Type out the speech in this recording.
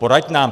Poraď nám!